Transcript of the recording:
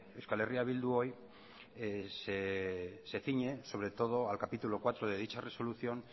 eh bildu hoy se ciñe sobre todo al capítulo cuarto de dicha resolución